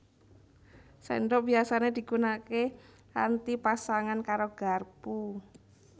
Sendhok biyasané digunaké kanthi pasangan karo garpu